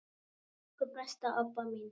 Elsku besta Obba mín.